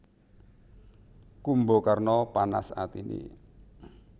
Kumbakarna panas atiné